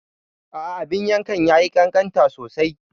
A'a, abin yankan ya yi ƙanƙanta sosai.